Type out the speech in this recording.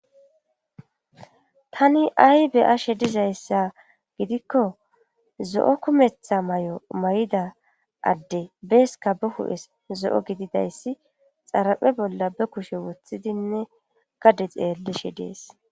tani ay be'ashe dizayssa gidikko zo7o kumetha may7o may7ida adde beeska ba hu7es zo7o gididayssi xaraphe bolla be kushe woththidinne gade xeellishe dees